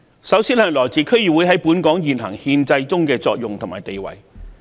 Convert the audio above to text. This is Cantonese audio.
首先是區議會在本港現行憲制中的作用和地位。